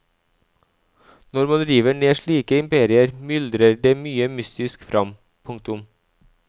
Når man river ned slike imperier myldrer det mye mystisk fram. punktum